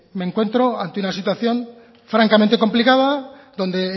me encuentro ante una situación francamente complicada donde